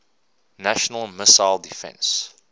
national missile defense